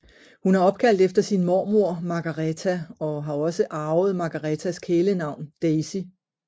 Hun er opkaldt efter sin mormor Margareta og har også arvet Margaretas kælenavn Daisy